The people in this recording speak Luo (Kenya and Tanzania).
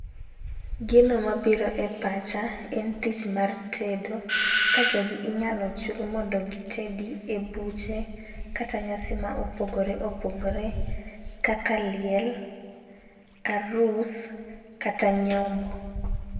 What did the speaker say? Gino mabiro e pacha en tich mar tedo . Ka jogi inyalo chul mondo gitedi e buche kata nyasi mopogore opogore kaka liel , arus kata nyombo.